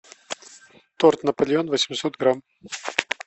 торт наполеон восемьсот грамм